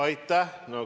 Aitäh!